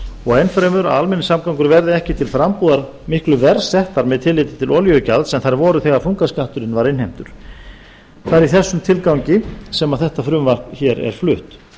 og enn fremur að almenningssamgöngur verði ekki til frambúðar miklu verr settar með tilliti til olíugjalds en þær voru þegar þungaskatturinn var innheimtur það er í þessum tilgangi sem þetta frumvarp er flutt